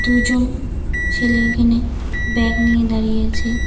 দুজন ছেলে এখানে ব্যাগ নিয়ে দাঁড়িয়ে আছে।